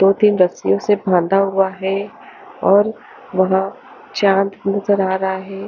दो तीन रस्सियों से बांधा हुआ है और वहां चांद नजर आ रहा है।